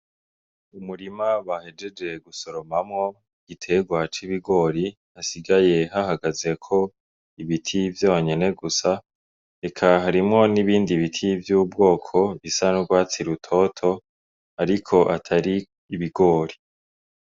Umurima bahejeje gusoromamwo igiterwa c'ibigori, hasigaye hahagazeko ibiti vyonyene gusa, eka harimwo n'ibindi biti vy'ubwoko, bisa n'urwatsi rutoto ,ariko atari ibigori.